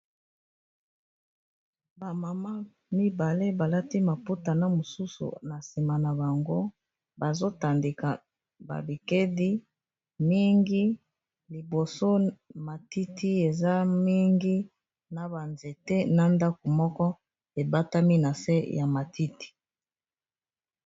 bamama mibale balati maputa na mosusu na nsima na bango bazotandika babikedi mingi liboso matiti eza mingi na banzete na ndako moko ebatami na se ya matiti